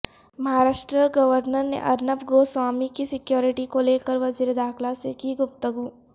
Maharashtra governor نے ارنب گوسوامی کی security کو لیکر وزیر داخلہ سے کی گفتگو